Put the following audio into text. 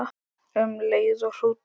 Um leið og hrútur